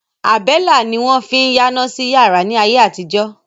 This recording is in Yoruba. Àbẹ́lá ni wọ́n fín yáná sí yàrá ni ayé àtijọ́.